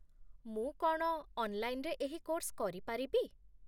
ମୁଁ କ'ଣ ଅନ୍‌ଲାଇନ୍‌ରେ ଏହି କୋର୍ସ କରିପାରିବି?